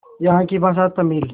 यहाँ की भाषा तमिल